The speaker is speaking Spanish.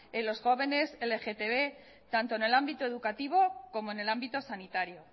en los jóvenes lgtb tanto en el ámbito educativo como en el ámbito sanitario